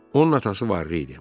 Onun atası varlı idi.